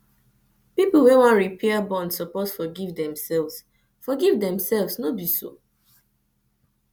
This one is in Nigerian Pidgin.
pipo wey wan repair their bond suppose forgive themselves forgive themselves no be so